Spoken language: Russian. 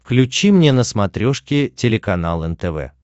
включи мне на смотрешке телеканал нтв